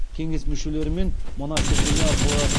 кеңес мүшелерімен мына сілтеме арқылы